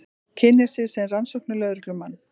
Kynnir sig sem rannsóknarlögreglumann.